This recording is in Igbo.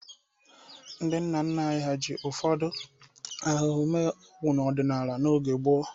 Ndị nna nna anyị ji ụfọdụ ahụhụ mee ọgwụ ọdinala n'oge gboo.